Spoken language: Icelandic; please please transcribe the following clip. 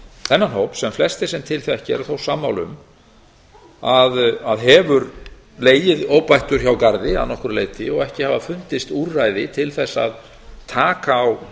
þennan hóp sem flestir sem til þekkja eru þó sammála um að hefur legið óbættur hjá garð að nokkru leyti og ekki hafa fundist úrræði til þess að taka á